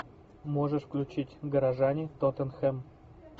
можешь включить горожане тоттенхэм